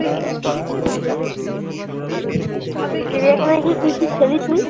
চিড়িয়াখানা গিয়ে কি কি খেলি তুই?